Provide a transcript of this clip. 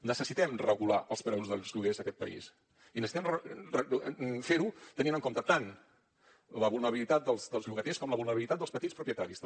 necessitem regular els preus dels lloguers a aquest país i necessitem fer ho tenint en compte tant la vulnerabilitat dels llogaters com la vulnerabilitat dels petits propietaris també